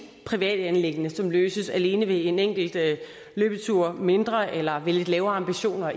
privat anliggende som løses alene ved en enkelt løbetur mindre eller ved lidt lavere ambitioner